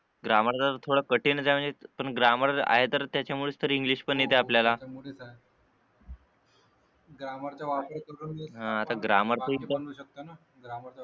grammar चे तर थोडं कठीणच आहे पण ग्रामर आहे तर त्याच्यामुळेच तर इंग्लिश पण येते आपल्याला हा आता ग्रामर तर एकदम